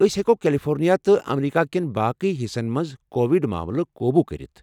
أسۍ ہٮ۪کو کیلیفورنیا تہٕ امریکہ کٮ۪ن باقٕی حِصن منٛز کووِڈ ماملہٕ قوبوٗ كرِتھ ۔